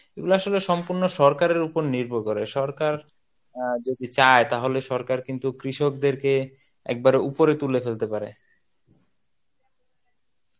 এগুলা আসলে সম্পুর্ন সরকারের উপর নির্ভর করে. সরকার আহ যদি চায় তাহলে সরকার কিন্তু কৃষকদেরকে একবারে উপরে তুলে ফেলতে পারে.